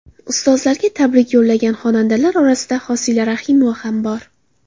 Ustozlarga tabrik yo‘llagan xonandalar orasida Hosila Rahimova ham bor.